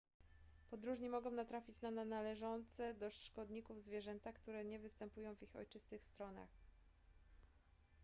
podróżni mogą natrafić na należące do szkodników zwierzęta które nie występują w ich ojczystych stronach